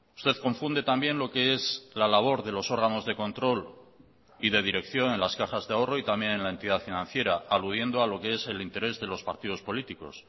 usted confunde también lo que es la labor de los órganos de control y de dirección en las cajas de ahorro y también en la entidad financiera aludiendo a lo que es el interés de los partidos políticos